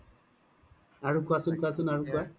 আৰু কুৱাচোন কুৱাচোন আৰু কুৱা